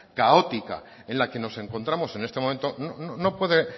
caótica en la que nos encontramos en este momento no puede